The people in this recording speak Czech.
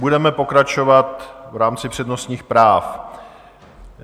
Budeme pokračovat v rámci přednostních práv.